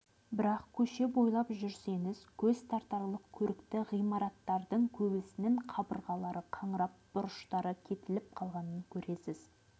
бірақ көше бойлап жүрсеңіз көз тартарлық көрікті ғимараттардың көбісінің кабырғалары қаңырап бұрыштары кетіліп қалғанын көресіз